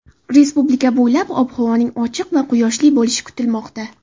Respublika bo‘ylab ob-havoning ochiq va quyoshli bo‘lishi kutilmoqda.